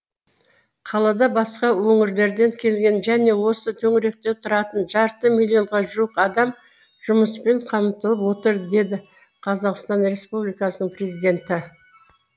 қалада басқа өңірлерден келген және осы төңіректе тұратын жарты миллионға жуық адам жұмыспен қамтылып отыр деді қазақстан республикасының президенті